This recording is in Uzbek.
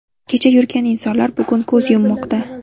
Kecha yurgan insonlar bugun ko‘z yummoqda.